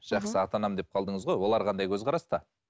жақсы ата анам деп қалдыңыз ғой олар қандай көзқараста